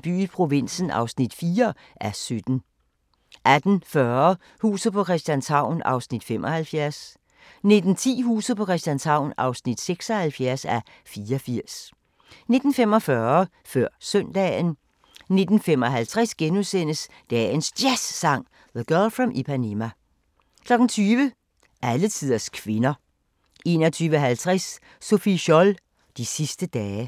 by i provinsen (4:17)* 18:40: Huset på Christianshavn (75:84) 19:10: Huset på Christianshavn (76:84) 19:45: Før Søndagen 19:55: Dagens Jazzsang: The Girl From Ipanema * 20:00: Alletiders kvinder 21:50: Sophie Scholl – De sidste dage